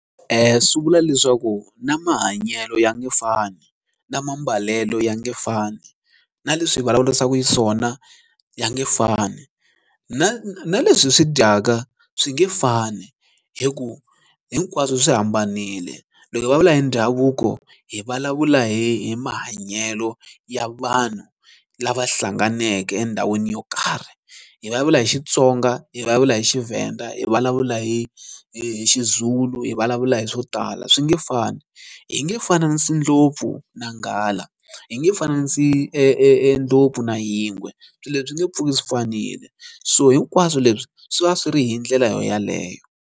swi vula leswaku na mahanyelo ya nge fani na mambalelo ya nge fani na leswi vulavurisaka xiswona ya nge fani na na leswi swi dyaka swi nge fani hi ku hinkwaswo swi hambanile loko hi vulavula hi ndhavuko hi vulavula hi mahanyelo ya vanhu lava hlanganeke endhawini yo karhi hi vulavula hi Xitsonga hi va vula hi xiVenda hi vulavula hi hi xiZulu hi vulavula hi swo tala swi nge fani hi nge fananisi ndlopfu na nghala hi nge fananisi ndlopfu na yingwe swilo leswi swi nge pfuki swi fanile so hinkwaswo leswi swi va swi ri hi ndlela yeleyo.